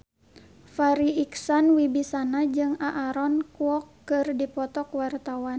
Farri Icksan Wibisana jeung Aaron Kwok keur dipoto ku wartawan